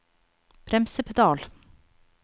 bremsepedal